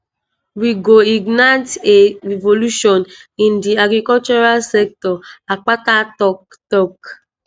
we go ignite a revolution in di agricultural sector" akpata tok. tok.